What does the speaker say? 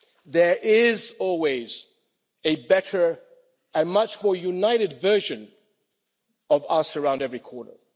There is always a better and much more united version of us around every corner.